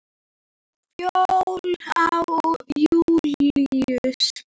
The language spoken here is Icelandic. Fjóla og Júlíus.